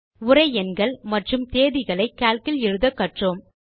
உரை எண்கள் மற்றும் தேதிகளை கால்க் இல் எழுத கற்றோம்